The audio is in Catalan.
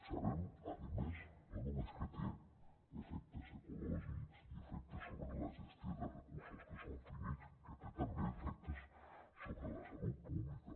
sabem a més no només que té efectes ecològics i efectes sobre la gestió de recursos que són finits sinó que té també efectes sobre la salut pública